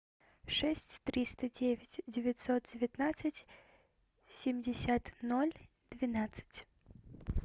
шесть триста девять девятьсот девятнадцать семьдесят ноль двенадцать